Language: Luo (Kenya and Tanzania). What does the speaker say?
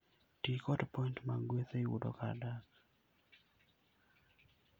Ti kod points mag gweth e yudo kar dak.